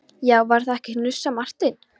Já, var það ekki hnussar Marteinn.